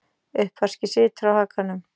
Uppvaskið situr á hakanum.